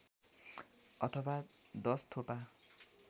अथवा १० थोपा